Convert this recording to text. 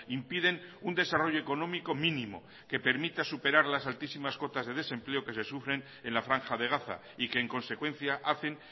impiden un desarrollo económico mínimo que permita superar las altísimas cotas de desempleo que se sufren en la franja de gaza y que en consecuencia hacen